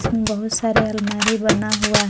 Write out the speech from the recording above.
बहुत सारे अलमारी बना हुआ है।